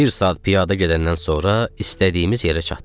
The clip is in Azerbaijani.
Bir saat piyada gedəndən sonra istədiyimiz yerə çatdıq.